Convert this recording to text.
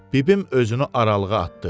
Bibim özünü aralığa atdı.